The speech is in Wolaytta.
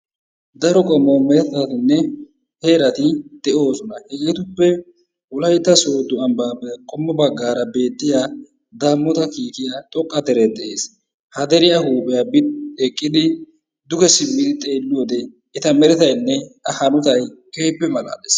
Daro qommo meretattinne heerati de'oosona. Hegeetuppe wolaytta soodo ambbaappe qommo bagaara beettiya daamota kiikiya xoqqa deree de'ees. Ha deriya huuphiya bi eqqidi duge simmidi xeeliyode eta merettaynne hanotay keehippe malaalees.